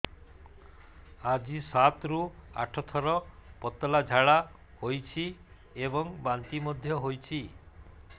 ଆଜି ସାତରୁ ଆଠ ଥର ପତଳା ଝାଡ଼ା ହୋଇଛି ଏବଂ ବାନ୍ତି ମଧ୍ୟ ହେଇଛି